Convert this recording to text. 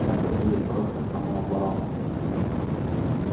это будет просто самооборона